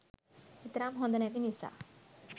එතරම් හොඳ නැති නිසා